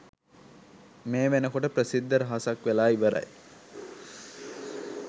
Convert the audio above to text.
මේ වෙනකොට ප්‍රසිද්ධ රහසක් වෙලා ඉවරයි.